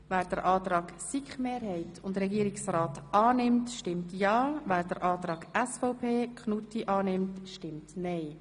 Wer den Antrag SiKMehrheit und Regierungsrat annimmt, stimmt ja, wer den Antrag SVP Knutti annimmt, stimmt nein.